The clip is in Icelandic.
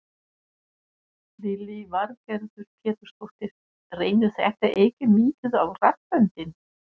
Lillý Valgerður Pétursdóttir: Reynir þetta ekki mikið á raddböndin?